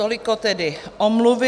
Toliko tedy omluvy.